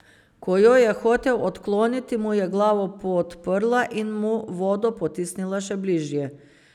Ko jo je hotel odkloniti, mu je glavo podprla in mu vodo potisnila še bližje.